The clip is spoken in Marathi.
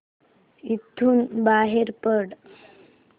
इथून बाहेर पड